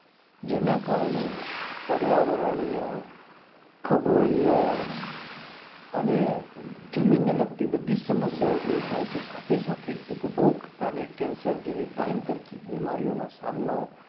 જેના કારણે પર્યાવરણીય ખગોલીય અને જમીન ને લગતી બધી જ સમસ્યાઓ દૂર થાય છે સાથે સાથે ઉપભોગતાને cancer જેવી ભયંકર બીમારી નો સામનો